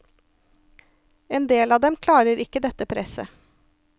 En del av dem klarer ikke dette presset.